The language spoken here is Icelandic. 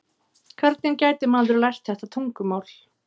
Hvernig gæti maður lært þetta tungumál?